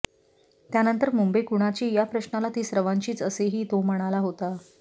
त्यानंतर मुंबई कुणाची या प्रश्नाला ती सर्वांचीच असेही तो म्हणाला होता